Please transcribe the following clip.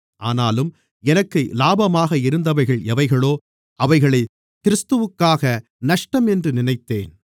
ஆனாலும் எனக்கு இலாபமாக இருந்தவைகள் எவைகளோ அவைகளைக் கிறிஸ்துவுக்காக நஷ்டம் என்று நினைத்தேன்